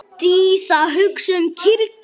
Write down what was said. Dísa hugsaði um kýrnar.